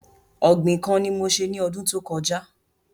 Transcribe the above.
Ògbìn kan ni mo se ní ọdún tó kọjá